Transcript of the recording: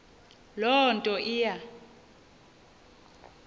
loo nto iya